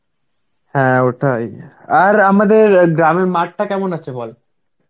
হ্যাঁ ওটাই. আর আমাদের অ্যাঁ গ্রামের মাঠটা কেমন আছে বল?